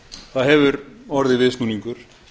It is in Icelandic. það hefur orðið viðsnúningur